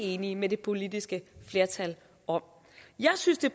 enige med det politiske flertal om jeg synes det